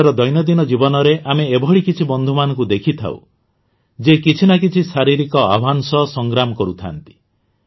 ନିଜର ଦୈନନ୍ଦିନ ଜୀବନରେ ଆମେ ଏଭଳି କିଛି ବନ୍ଧୁମାନଙ୍କୁ ଦେଖିଥାଉ ଯିଏ କିଛି ନା କିଛି ଶାରୀରିକ ଆହ୍ୱାନ ସହ ସଂଗ୍ରାମ କରୁଥାଆନ୍ତି